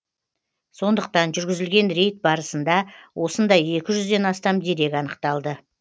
сондықтан жүргізілген рейд барысында осындай екі жүзден астам дерек анықталды